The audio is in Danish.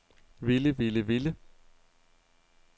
ville ville ville